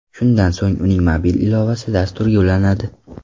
Shundan so‘ng uning mobil ilovasi dasturga ulanadi.